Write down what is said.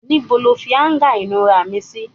Ìbò lọ fi anga inura mí sí?